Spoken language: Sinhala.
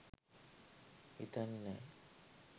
හිතන්නෙ නෑ.